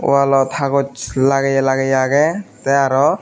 walot hagoch lageye lageye agey tay aro.